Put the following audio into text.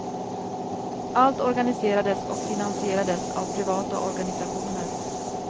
Allt organiserades och finansierades av privata organisationer.